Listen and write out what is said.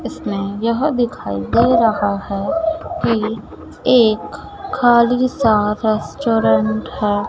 इसमे यह दिखाई दे रहा है कि एक खाली सा रेस्टोरेंट है।